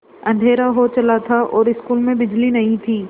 अँधेरा हो चला था और स्कूल में बिजली नहीं थी